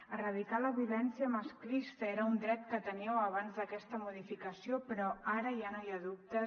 erradicar la violència masclista era un dret que teníeu abans d’aquesta modificació però ara ja no hi ha dubtes